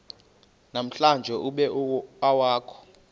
namhlanje ube awukho